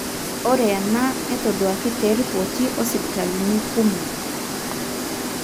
ore ena netoduaki te ripoti osipitalini kumok.